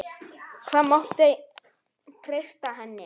Það mátti treysta henni.